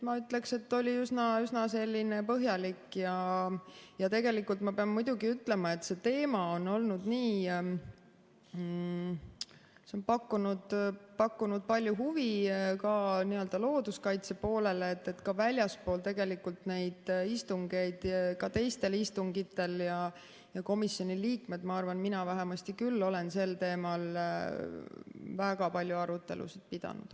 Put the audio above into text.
Ma ütleksin, et oli üsna põhjalik, ja tegelikult ma pean muidugi ütlema, et see teema on pakkunud palju huvi ka looduskaitse poolele, ka väljaspool neid istungeid, ka teistel istungitel, ja ma arvan, et komisjoni liikmed on, mina vähemasti küll olen sel teemal väga palju arutelusid pidanud.